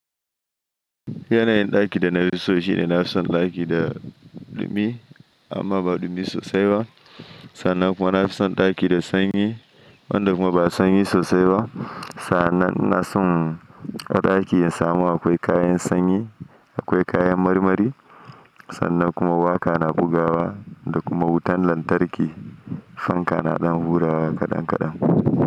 Yanayin ɗakin da na fi so shine na fi son ɗaki da ɗumi amma ba ɗumi sosai ba. Sannan kuma na fi son ɗaki da sanyi wanda kuma ba sanyi sosai ba. Sa'annan ina son a ɗakin in samu akwai kayan sanyi, akwai kayan marmari. Sannan kuma waƙa na bugawa da kuma wutan lantarki. Fanka na ɗan hurawa kaɗan kaɗan.